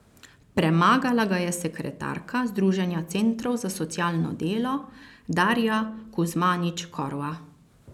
Premagala ga je sekretarka Združenja centrov za socialno delo Darja Kuzmanič Korva.